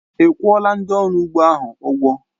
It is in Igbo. Ị́ kwuọla ndị ọrụ ugbo ahụ ụgwọ?